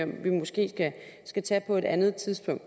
vi måske skal tage på et andet tidspunkt